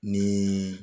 Ni